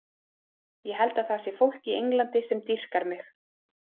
Ég held að það sé fólk í Englandi sem dýrkar mig.